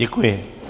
Děkuji.